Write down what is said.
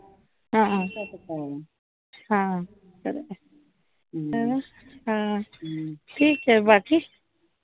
ठीके बाकी